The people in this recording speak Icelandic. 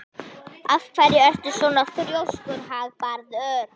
Af hverju ertu svona þrjóskur, Hagbarður?